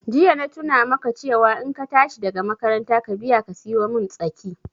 Jiya na tuna maka cewa in ka tashi daga makaranta ka biya ka siyomin tsaki